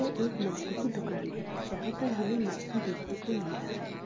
यह एक मछली की दूकान है जहा पर हमें मछली देखने को मिल रहा है।